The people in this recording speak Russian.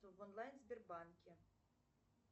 в онлайн сбербанке